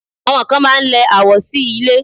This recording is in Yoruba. Àwọn kan máá ń lẹ àwo sí ilẹ̀